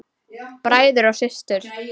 Bræður og systur!